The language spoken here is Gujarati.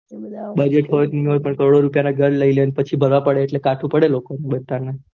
પેલા ઘર લીલેને પછી ભરવા પડે ને એટલે કાઢું પડે લોકો ને